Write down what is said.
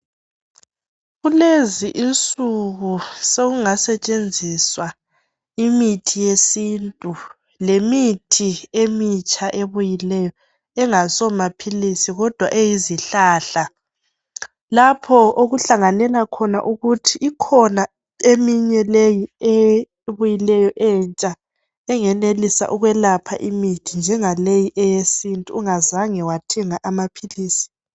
Kulezi insuku sokungasetshenziswa imithi yesintu lemithi emitsha ebuyileyo engasiyo maphilisi kodwa eyizihlahla lapho okuhlanganela khona ukuthi ikhona eminye leyi ebuyileyo entsha engenelisa ukwelapha imithi njenga leyi eyesintu ungazange wathenga amaphilisi